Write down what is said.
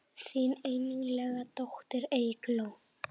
Þín einlæga dóttir Eygló.